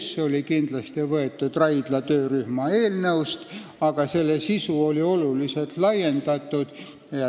See oli kindlasti võetud Raidla töörühma eelnõust, aga selle sisu oli oluliselt laiendatud.